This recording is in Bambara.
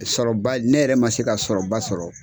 Sɔrɔba ne yɛrɛ ma se ka sɔrɔba sɔrɔ.